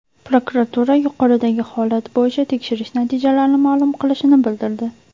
Prokuratura yuqoridagi holat bo‘yicha tekshirish natijalarini ma’lum qilishini bildirdi.